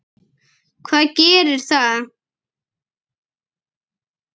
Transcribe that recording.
Hvað gerir það?